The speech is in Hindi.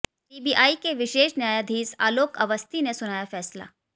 सीबीआई के विशेष न्यायाधीश आलोक अवस्थी ने सुनाया फैसला